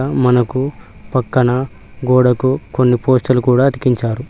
మనకు పక్కన గోడకు కొన్ని పోస్టర్ లు కూడా అతికించారు.